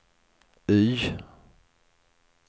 Y